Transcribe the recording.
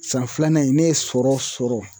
San filanan in ne ye sɔrɔ sɔrɔ